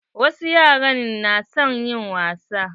Wasu yara na son yin wasa.